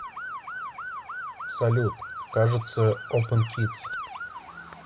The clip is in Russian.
салют кажется опен кидс